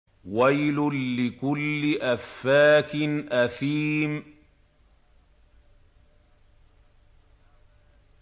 وَيْلٌ لِّكُلِّ أَفَّاكٍ أَثِيمٍ